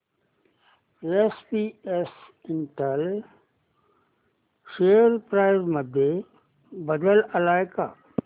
SPS Intel share price मध्ये बदल आलाय का